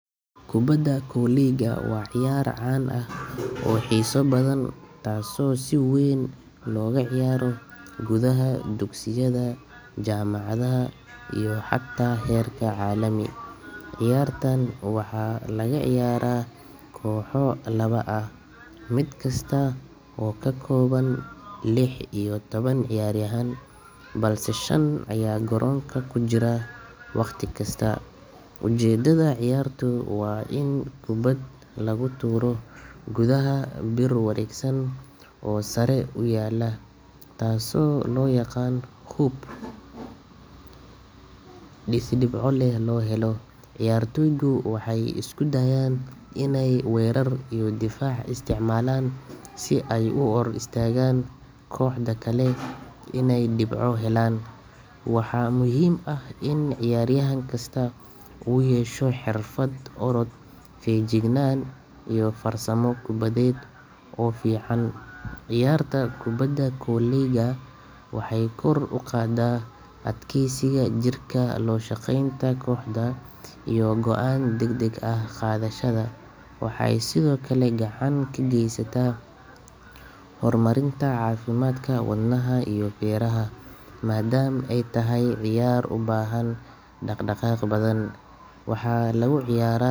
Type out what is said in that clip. Kubadda kolayga waa ciyaar caan ah oo xiiso badan taasoo si weyn looga ciyaaro gudaha dugsiyada, jaamacadaha iyo xataa heerka caalami. Ciyaartan waxaa lagu ciyaaraa kooxo laba ah, mid kasta oo ka kooban lix iyo toban ciyaaryahan, balse shan ayaa garoonka ku jira wakhti kasta. Ujeedada ciyaartu waa in kubad lagu tuuro gudaha bir wareegsan oo sare u yaalla, taasoo loo yaqaan hoop, si dhibco loo helo. Ciyaartoygu waxay isku dayaan inay weerar iyo difaac isticmaalaan si ay u hor istaagaan kooxda kale inay dhibco helaan. Waxaa muhiim ah in ciyaaryahan kasta uu yeesho xirfad orod, feejignaan, iyo farsamo kubbadeed oo fiican. Ciyaarta kubadda kolayga waxay kor u qaadaa adkaysiga jirka, la shaqaynta kooxda, iyo go’aan degdeg ah qaadashada. Waxay sidoo kale gacan ka geysataa horumarinta caafimaadka wadnaha iyo feeraha, maadaama ay tahay ciyaar u baahan dhaqdhaqaaq badan. Waxaa lagu ciyaaraa.